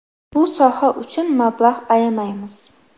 Bu soha uchun mablag‘ ayamaymiz.